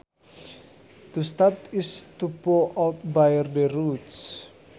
To stub is to pull out by the roots